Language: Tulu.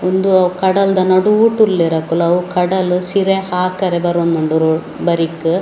ಉಂದು ಕಡಲ್‌ದ ನಡೂಟ್‌ ಉಳ್ಳೇರ್‌ ಅಕ್ಕುಲು ಅವು ಕಡಲು ಸಿರೆ ಆಕರೆ ಬರೋಂದುಂಡು ರೋ ಬರಿಕ್ .